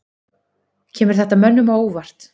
Kemur þetta mönnum á óvart?